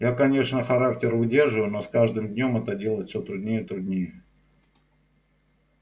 я конечно характер выдерживаю но с каждым днём это делать все труднее и труднее